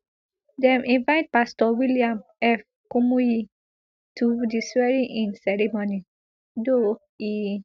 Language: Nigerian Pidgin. dem invite pastor william f kumuyi to di swearingin ceremony though e